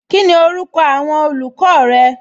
Kíni orúkọ awọn olùkọ rẹ?